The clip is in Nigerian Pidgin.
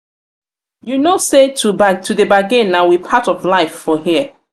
you no know sey to dey bargin na we part of life for here?